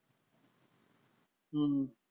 हम्म